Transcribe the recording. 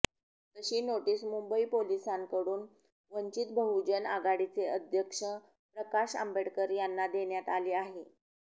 तशी नोटीस मुंबई पोलिसांकडून वंचित बहुजन आघाडीचे अध्यक्ष प्रकाश आंबेकडर यांना देण्यात आली आहे